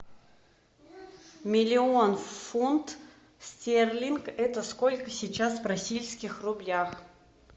миллион фунт стерлинг это сколько сейчас в российских рублях